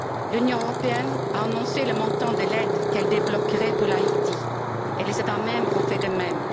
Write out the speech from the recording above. L'Union européenne a annoncé le montant de l'aide qu'elle débloquerait pour Haïti, et les États membres ont fait de même.